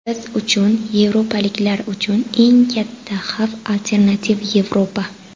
Biz uchun, yevropaliklar uchun eng katta xavf alternativ Yevropa.